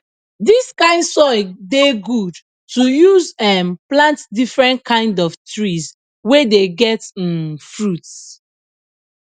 dis kind soil dey good to use um plant different kind of trees wey dey get um fruits